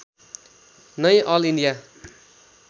नै all India